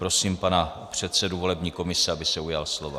Prosím pana předsedu volební komise, aby se ujal slova.